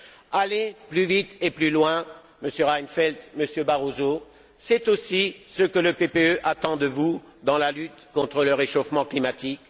Aller plus vite et plus loin, Monsieur Reinfeldt, Monsieur Barroso, c'est aussi ce que le PPE attend de vous dans la lutte contre le réchauffement climatique.